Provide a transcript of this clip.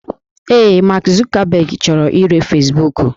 Ee, Mark Zuckerberg chọrọ ire Fesbuku